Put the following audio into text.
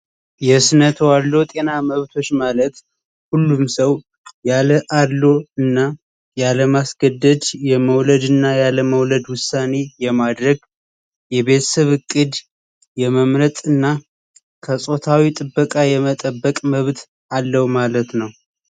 የእስነቱ አሎ ጤና መብቶች ማለት ሁሉም ሰው ያለ አሎ እና ያለማስገደጅ የመውለድ እና ያለመውለድ ውሳኒ የማድረግ የቤስብ ቅድ የመምረጥ እና ከጾታዊ ጥበቃ የመጠበቅ መብት አለው ማለት ነው።